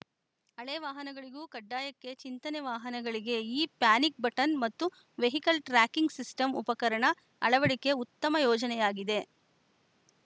ಹಳೆ ವಾಹನಗಳಿಗೂ ಕಡ್ಡಾಯಕ್ಕೆ ಚಿಂತನೆ ವಾಹನಗಳಿಗೆ ಈ ಪ್ಯಾನಿಕ್‌ ಬಟನ್‌ ಮತ್ತು ವೆಹಿಕಲ್‌ ಟ್ರ್ಯಾಕಿಂಗ್‌ ಸಿಸ್ಟಂ ಉಪಕರಣ ಅಳವಡಿಕೆ ಉತ್ತಮ ಯೋಜನೆಯಾಗಿದೆ